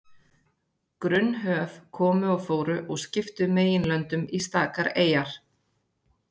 Grunn höf komu og fóru og skiptu meginlöndum í stakar eyjar.